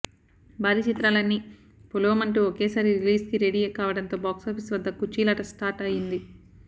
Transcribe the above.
భారీ చిత్రాలన్నీ పొలోమంటూ ఒకేసారి రిలీజ్కి రెడీ కావడంతో బాక్సాఫీస్ వద్ద కుర్చీలాట స్టార్ట్ అయింది